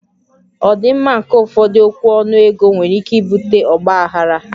Ọdịmma nke ụfọdụ okwu ọnụ ego nwere ike ibute ọgba aghara